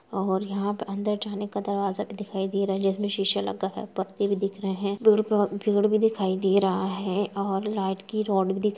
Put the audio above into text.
और यहाँ प अंदर जाने का दरवाजा भी दिखाई दे रहा जिसमें शीशा लगा है | पत्ते भी दिख रहें हैं दिखाई दे रहा है और लाइट की रोड भी दिख --